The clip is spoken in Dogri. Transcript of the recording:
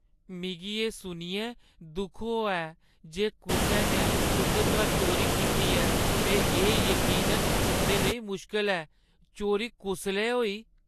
मिगी एह् सुनियै दुख होआ ऐ जे कुसै ने तुंʼदे घर चोरी कीती ऐ ते एह् यकीनन तुंʼदे लेई मुश्कल ऐ। चोरी कुसलै होई?